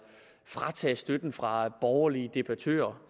tage støtten fra borgerlige debattører